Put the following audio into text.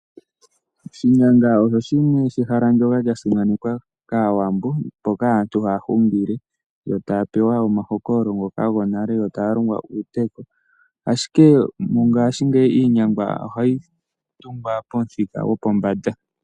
Oshinyanga osho ehala ndyoka lya simanekwa kaawambo, mpoka aantu haya hungile, yo taya pewa omahokololo ngoka gonale nokulongwa uuteyo. Ashike mongashingeyi, iinyanga ohayi tungwa pomuthika gwopombanda.